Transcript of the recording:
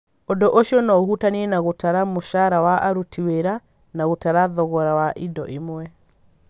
Ũndũ ũcio no ũhutanie na gũtara mũcara wa aruti wĩra na gũtara thogora wa indo imwe.